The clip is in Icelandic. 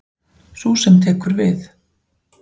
Sú sem tekur við.